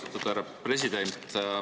Austatud härra president!